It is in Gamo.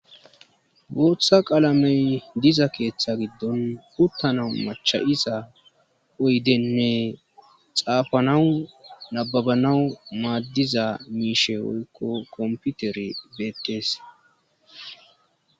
Booththa qaalamey diza keeththa giddon uttanawu macha'isa oydenne xaafanawu nababanawu maaddiza miishe oykko komputere beettees.